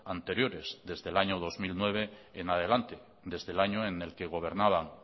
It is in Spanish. anteriores desde el año dos mil nueve en adelante desde el año en el que gobernaban